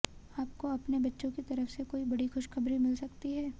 आपको अपने बच्चों की तरफ से कोई बड़ी खुशखबरी मिल सकती है